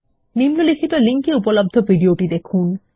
নিম্নলিখিত লিঙ্ক এ উপলব্ধ ভিডিওটি দেখুন